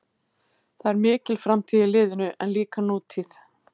Það er mikil framtíð í liðinu en líka nútíð.